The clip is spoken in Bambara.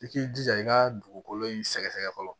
I k'i jija i ka dugukolo in sɛgɛsɛgɛ fɔlɔ